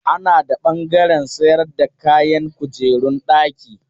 Ana da ɓangaren sayar da kayan kujerun daki.